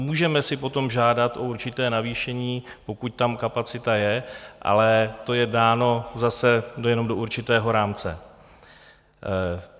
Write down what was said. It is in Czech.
Můžeme si potom žádat o určité navýšení, pokud tam kapacita je, ale to je dáno zase jenom do určitého rámce.